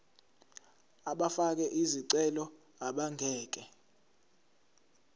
abafake izicelo abangeke